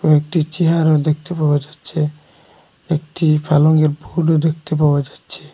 একটি চেয়ারও দেখতে পাওয়া যাচ্ছে একটি পালংয়ের ফুলও দেখতে পাওয়া যাচ্ছে।